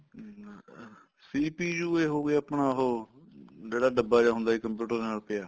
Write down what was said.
ਅਹ CPU ਏ ਹੋਗਿਆ ਆਪਣਾ ਉਹ ਜਿਹੜਾ ਡੱਬਾ ਜਾ ਹੁੰਦਾ ਸੀ computer ਦੇ ਨਾਲ ਪਿਆ